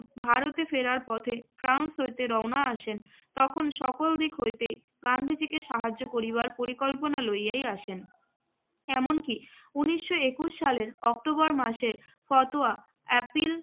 ভারতে ফেরার পথে ফ্রাস হইতে রওনা আসেন তখন সকল দিক হইতেই গান্ধীজিকে সাহায্য করিবার পরিকল্পনা লইয়াই আসেন। এমনকি উনিশশো একুশ সালের অক্টোবর মাসের ফতোয়া অ্যাপিল